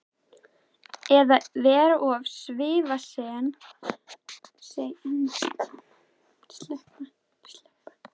Eða vera of svifasein að sækja matarbita eða bjórflösku.